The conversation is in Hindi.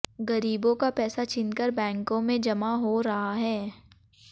गरीबों का पैसा छीनकर बैंकों में जमा हो रहा है